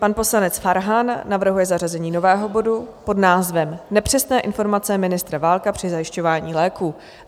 Pan poslanec Farhan navrhuje zařazení nového bodu pod názvem Nepřesné informace ministra Válka při zajišťování léků.